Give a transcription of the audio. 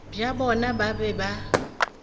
bja bona ba be ba